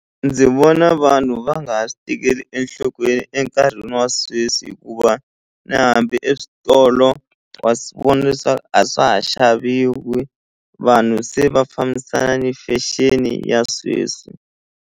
Ndzi vona vanhu va nga ha swi tekeli enhlokweni enkarhini wa sweswi hikuva na hambi eswitolo wa swi vona leswaku a swa ha xaviwi vanhu se va fambisana ni fashion ya sweswi.